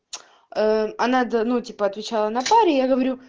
а надо ну типа отвечала на паре я говорю